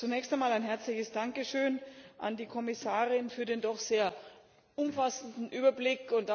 Zunächst einmal ein herzliches Dankeschön an die Kommissarin für den doch sehr umfassenden Überblick.